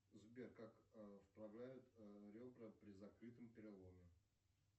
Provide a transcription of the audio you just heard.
сбер как вправляют ребра при закрытом переломе